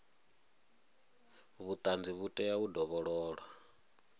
vhuṱanzi vhu tea u dovhololwa